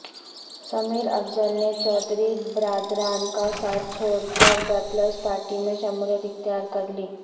سمیر اافضل نے چودھری برادران کا ساتھ چھوڑ کر پیپلزپارٹی میں شمولیت اختیار کر لی